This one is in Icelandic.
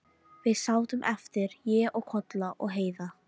Við sátum eftir, ég og Kolla og Heiða.